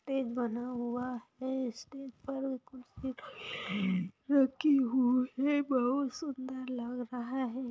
Stage बना हुआ हैं स्टेज पर कुर्सी रखी हुई है बहुत सुंदर लग रहा है।